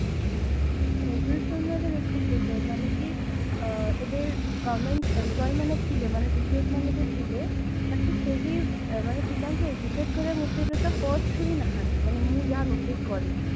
covid ସମୟରେ ଦେଖନ୍ତୁ sir ମାନେକି ଏବେ government employee ମାନେ ଥିଲେ ମାନେ teachers ମାନେ ବି ଥିଲେ ବାକି କେହି ମାନେ ପିଲାଙ୍କୁ educate କରିବା motiveରେ ତ first ରୁ ହିଁ ନାହାନ୍ତି ମାନେ ମୁଁ ଯାହା notice କରିଛି